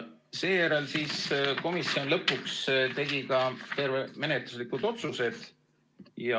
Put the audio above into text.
Seejärel komisjon lõpuks tegi ka menetluslikud otsused.